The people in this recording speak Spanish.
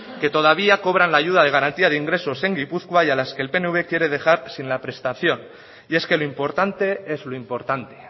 que todavía cobran la ayuda de garantia de ingresos en gipuzkoa y a las que el pnv quiere dejar sin la prestación y es que lo importante es lo importante